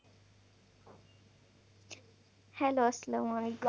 Hello আসসালামু আলাইকুম